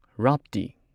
ꯔꯥꯞꯇꯤ